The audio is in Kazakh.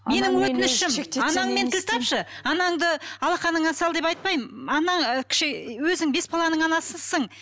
менің өтінішім анаңмен тіл тапшы анаңды алақаныңа сал деп айтпаймын өзің бес баланың анасысың